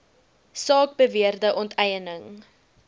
saak beweerde onteiening